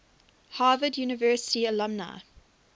harvard university alumni